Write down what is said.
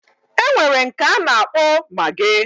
Enwere nke ana akpo maggi